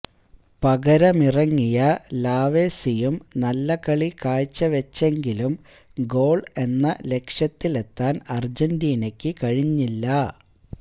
പകരമിറങ്ങിയ ലാവേസിയും നല്ല കളി കാഴ്ചവച്ചെങ്കിലും ഗോൾ എന്ന ലക്ഷ്യത്തിലെത്താൻ അർജന്റീനയ്ക്കു കഴിഞ്ഞില്ല